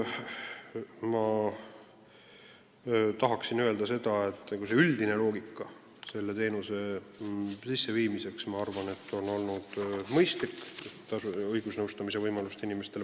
Ma tahan öelda, et selle teenuse juurutamine on minu arvates olnud mõistlik – on õige pakkuda inimestele õigusnõu saamise võimalust.